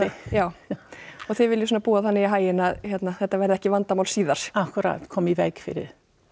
já og þið viljið svona búa þannig í haginn að hérna þetta verði ekki vandamál síðar akkúrat koma í veg fyrir